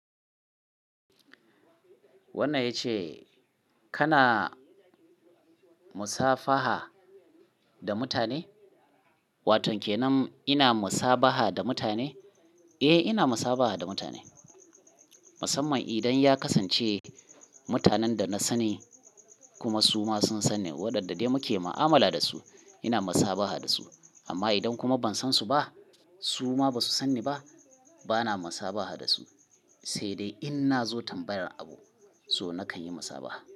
Wannan ya ce kana musabaha da mutane? Watau kenan ina musabaha da mutane? Eh, ina musabaha da mutane. Musamman idan ya kasance mutanen da na sani kuma su ma sun sani wadanda dai muke ma'amala da su ina musabaha da su. Amma idan kuma ban san su ba su ma ba su sani ba, bana musabaha da su. Sai dai in nazo tambayar abu, so nakan yi musabaha.